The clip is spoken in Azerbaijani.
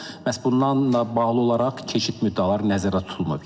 Məhz bundanla bağlı olaraq keçid müddəaları nəzərdə tutulmur.